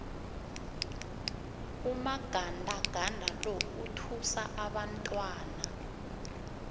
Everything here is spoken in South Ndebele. umagandaganda lo uthusa abantwana